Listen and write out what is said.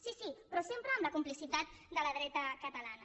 sí sí però sempre amb la complicitat de la dreta catalana